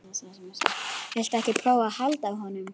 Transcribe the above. Viltu ekki prófa að halda á honum?